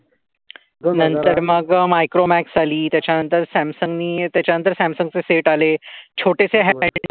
नंतर मग मायक्रोमॅक्स आली. त्याच्यानंतर सॅमसंग नी त्याच्यानंतर सॅमसंगचे सेट आले. छोटेसे ह्यांड.